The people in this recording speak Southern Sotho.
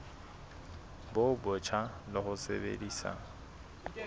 bo botjha le ho sebedisa